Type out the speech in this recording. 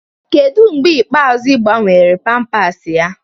Kedụ mgbe ikpeazụ ị gbanwele pampas ya?